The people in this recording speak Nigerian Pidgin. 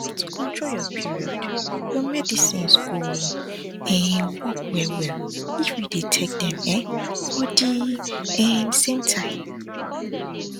to control your period your medicines go um work wellwell if you dey take dem um for the um same time